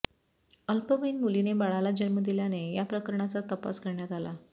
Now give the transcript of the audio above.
अल्पवयीन मुलीने बाळाला जन्म दिल्याने या प्रकऱणाचा तपास करण्यात आला